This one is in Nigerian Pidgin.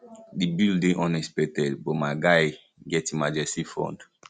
the bill dey unexpected but my guy get emergency fund